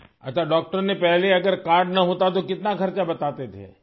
اچھا ڈاکٹر پہلے اگر کارڈ نہ ہوتا تو کتنا خرچ بتاتے تھے؟